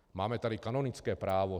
Máme tady kanonické právo.